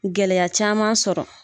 Gɛlɛya caman sɔrɔ